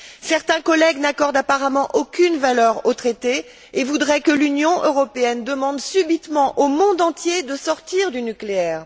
Certains collègues n'accordent, apparemment, aucune valeur au traité et voudraient que l'Union européenne demande, subitement, au monde entier de sortir du nucléaire